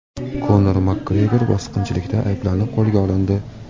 Konor Makgregor bosqinchilikda ayblanib qo‘lga olindi.